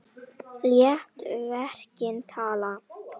Lét verkin tala.